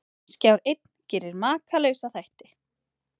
Skjár einn gerir Makalausa þætti